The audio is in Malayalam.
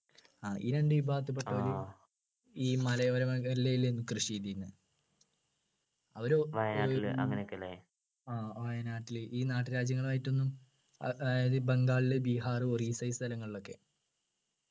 ആ ഈ രണ്ടു വിഭാഗത്തിൽപ്പെട്ടവരെ ഈ മലയോര മേഖലയിലേലു കൃഷി ചെയ്തിരുന്നെ അവര് ആ വയനാട്ടില് ഈ നാട്ടുരാജ്യങ്ങലുമായിട്ടൊന്നും ആഹ് അതായത് ഇ ബംഗാളിലു ബീഹാർ ഒറീസ ഈ സ്ഥലങ്ങളിലൊക്കെ